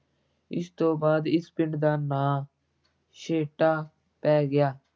ਇਸ ਤੋਂ ਬਾਅਦ ਇਸ ਪਿੰਡ ਦਾ ਨਾਂ ਛੇਹਰਟਾ ਪੈ ਗਿਆ